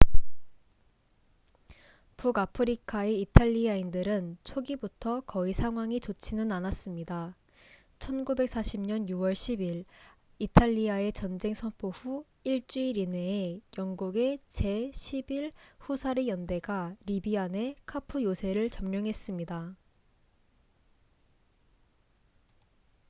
북아프리카의 이탈리아인들은 초기부터 거의 상황이 좋지는 않았습니다 1940년 6월 10일 이탈리아의 전쟁 선포 후 1주일 이내에 영국의 제 11 후사르 연대가 리비아 내 카푸 요새를 점령했습니다